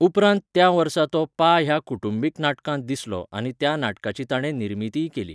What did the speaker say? उपरांत त्या वर्सा तो 'पा' ह्या कुटुंबीक नाटकांत दिसलो आनी त्या नाटकाची ताणें निर्मितीय केली.